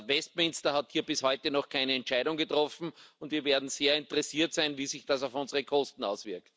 Westminster hat hier bis heute noch keine Entscheidung getroffen, und wir werden sehr interessiert sein, wie sich das auf unsere Kosten auswirkt.